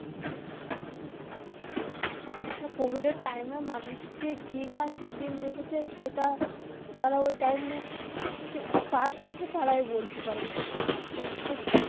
Covid এর time এ মানুষ যে কি না কি দিন দেখেছে সেটা যারা ওই time এ পার করেছে তারাই বলতে পারবে যে হ্যা সত্যি.